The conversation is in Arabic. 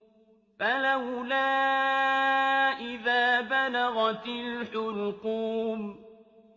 فَلَوْلَا إِذَا بَلَغَتِ الْحُلْقُومَ